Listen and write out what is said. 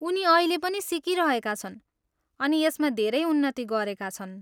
उनी अहिले पनि सिकिरहेका छन् अनि यसमा धेरै उन्नति गरेका छन्।